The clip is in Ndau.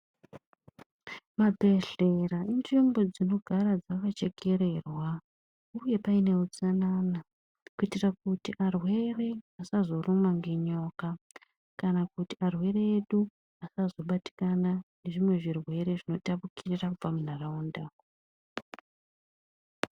Mabhedhlera inzvimbo dzinogara dzakachekererwa uye paine utsanana kuitira kuti arwere asazorumwa ngenyoka kana kuti arwere edu asazobatikana nezvimwe zvirwere zvinotapukira kubva muntaraunda.